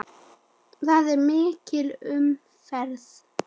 Þar er mikil umferð.